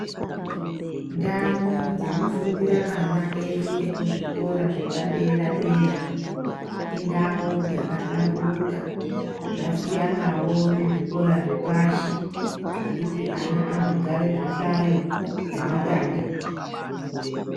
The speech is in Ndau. Ndau dzinofundira ana edu ekuzvikora zvepadera-dera, indau dzakahlamburuka zvasiyanavo nezvikora zvepashi zvekuti ana anogara zvihlayo zvematanda.